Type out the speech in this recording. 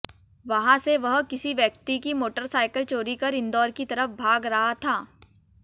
वहां से वह किसी व्यक्ति की मोटरसाइकिल चोरी कर इंदौर की तरफ भाग रहा था